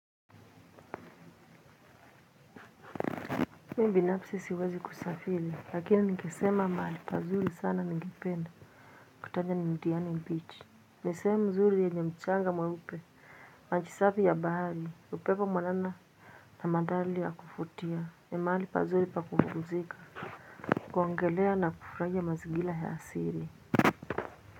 Mimi binafsi siwezi kusafiri lakini nikisema mahali pazuri sana ningipenda kutaja ni diani beach ni sehemu nzuri yenye mchanga mweupe maji safi ya bahari, upepo mwanana na madhari ya kuvutia. Ni mahali pazuri pa kupumzika kuogelea na kufurahia mazingira ya asili.